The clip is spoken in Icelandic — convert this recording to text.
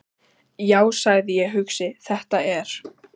Já, sagði ég hugsi: Þetta er.